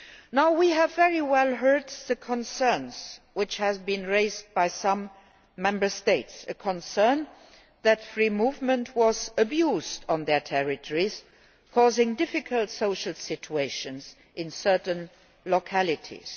Now, we have heard very clearly the concern which has been raised by some Member States, that free movement has been abused on their territories, causing difficult social situations in certain localities.